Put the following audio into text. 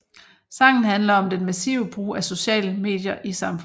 Sangen handler om den massive brug af sociale medier i samfundet